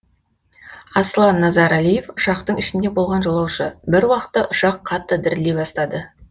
аслан назарәлиев ұшақтың ішінде болған жолаушы бір уақытта ұшақ қатты дірілдей бастады